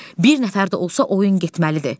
Bir nəfər də olsa oyun getməlidir.